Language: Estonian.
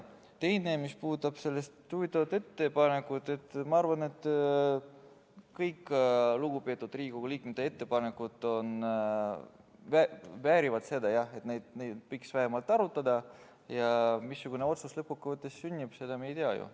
Teiseks, mis puudutab ettepanekut, siis ma arvan, et kõik lugupeetud Riigikogu liikmete ettepanekud väärivad seda, et neid võiks vähemalt arutada, ja missugune otsus lõppkokkuvõttes sünnib, seda me ju ei tea.